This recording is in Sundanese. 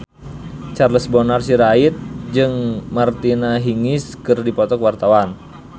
Charles Bonar Sirait jeung Martina Hingis keur dipoto ku wartawan